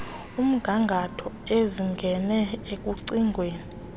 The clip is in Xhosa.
omgangatho ezingene ekucingweni